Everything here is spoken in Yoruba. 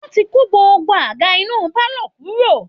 Wọ́n ti kó gbogbo àga inú pálọ̀ kúrò